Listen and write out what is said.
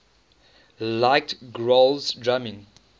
liked grohl's drumming